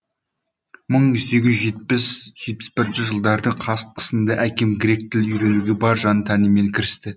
мың сегіз жүз жетпіс жетпіс бірінші жылдардың қысында әкем грек тілін үйренуге бар жан тәнімен кірісті